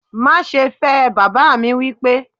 Má ṣe fẹ́ ẹ! baba mi wipe